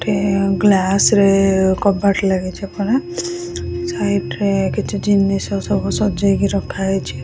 ଗୋଟେ ଗ୍ଲାସ ରେ କବାଟ ଲାଗିଛି ପରା ସାଇଡ୍ ରେ କିଛି ଜିନିଷ ସବୁ ସଜେଇକି ରଖା ହେଇଛି --